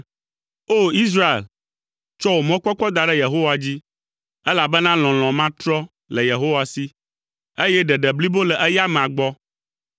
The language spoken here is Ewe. O! Israel, tsɔ wò mɔkpɔkpɔ da ɖe Yehowa dzi, elabena lɔlɔ̃ matrɔ le Yehowa si, eye ɖeɖe blibo le eya amea gbɔ.